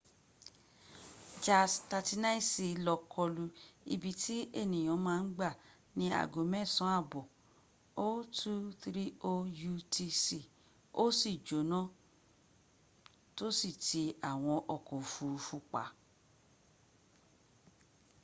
jas 39c lọ kọlu ibi tí ènìyàn ma ń gbà ní ago mẹsán àbọ̀ 0230 utc ó sì jọ́nà tó sì ti àwọn ọkọ̀ òfuruf;u pa